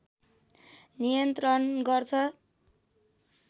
नियन्त्रण गर्छ